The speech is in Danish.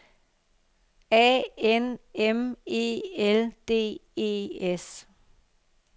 A N M E L D E S